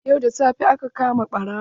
Yau da safe aka kama ɓarawon.